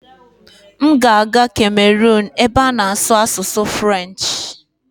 M ga-aga Cameron ebe a na-asụ asụsụ Firench